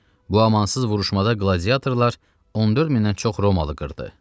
Bu amansız vuruşmada qladiatorlar 14 mindən çox Romalı qırdı.